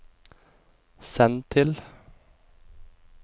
send til